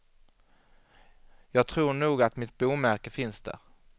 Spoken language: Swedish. Jag tror nog att mitt bomärke finns där.